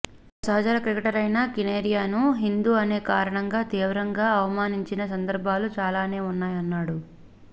తన సహచర క్రికెటరైన కనేరియాను హిందూ అనే కారణంగా తీవ్రంగా అవమానించిన సందర్భాలు చాలానే ఉన్నాయన్నాడు